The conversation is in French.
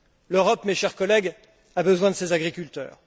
L'Europe, mes chers collègues, a besoin de ses agriculteurs.